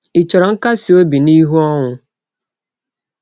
Ị chọrọ nkasi obi n’ihu ọnwụ?